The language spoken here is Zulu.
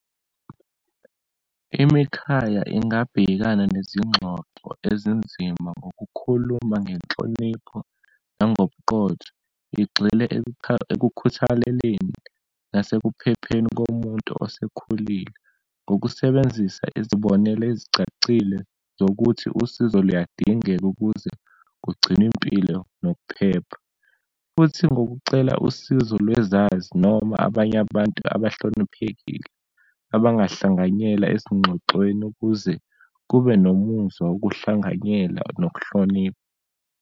Imikhaya ingabhekana nezingxoxo ezinzima, ngokukhuluma ngenhlonipho, nangobuqotho, igxile ekukhuthaleleni nasekuphepheni komuntu osekhulile. Ngokusebenzisa izibonelo ezicacile zokuthi usizo luyadingeka ukuze kugcinwe impilo nokuphepha, futhi ngokucela usizo lwezazi, noma abanye abantu abahloniphekile abahlanganyela ezingxoxweni ukuze kube nomuzwa wokuhlanganyela nokuhlonipha.